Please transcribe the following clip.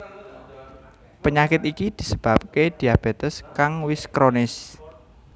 Penyakit iki disebabaké diabetes kang wis kronis